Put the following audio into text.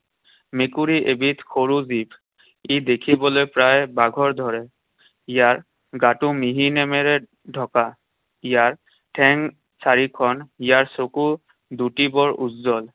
মেকুৰী এবিধ সৰু জীৱ। ই দেখিবলৈ প্ৰায় বাঘৰ দৰে। ইয়াৰ গাটো মিহি নোমেৰে ঢকা। ইয়াৰ ঠেং চাৰিখন। ইয়াৰ চকু দুটি বৰ উজ্জ্বল।